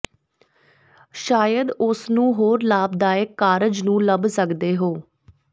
ਸ਼ਾਇਦ ਉਸ ਨੂੰ ਹੋਰ ਲਾਭਦਾਇਕ ਕਾਰਜ ਨੂੰ ਲੱਭ ਸਕਦੇ ਹੋ